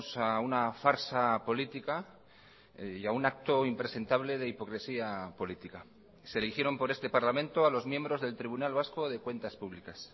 a una farsa política y a un acto impresentable de hipocresía política se eligieron por este parlamento a los miembros del tribunal vasco de cuentas públicas